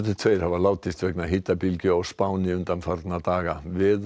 tveir hafa látist vegna hitabylgju á Spáni undanfarna daga